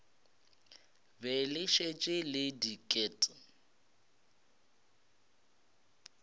be le šetše le diket